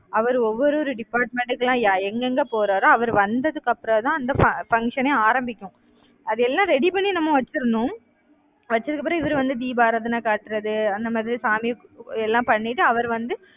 அவரு ஒவ்வொரு ஒரு department க்கெல்லாம் எங்கெங்கே போறாரோ அவர் வந்ததுக்கு அப்புறம்தான் அந்த fu~ function ஏ ஆரம்பிக்கும். அதெல்லாம் ready பண்ணி நம்ம வச்சிரணும் வச்சதுக்கு அப்புறம் இவரு வந்து தீபாராதனை காட்டுறது அந்த மாதிரி சாமிக்கு எல்லாம் பண்ணிட்டு அவர் வந்து